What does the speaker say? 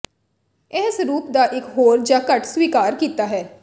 ਇਹ ਸਰੂਪ ਦਾ ਇੱਕ ਹੋਰ ਜ ਘੱਟ ਸਵੀਕਾਰ ਕੀਤਾ ਹੈ